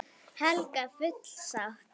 Helga: Full sátt?